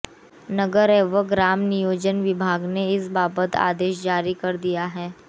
नगर एवं ग्राम नियोजन विभाग ने इस बाबत आदेश जारी कर दिए हैं